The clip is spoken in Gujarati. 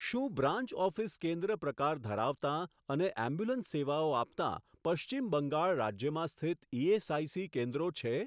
શું બ્રાન્ચ ઓફિસ કેન્દ્ર પ્રકાર ધરાવતાં અને એમ્બ્યુલન્સ સેવાઓ આપતાં પશ્ચિમ બંગાળ રાજ્યમાં સ્થિત ઇએસઆઇસી કેન્દ્રો છે?